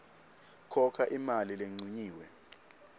khokha imali lencunyiwe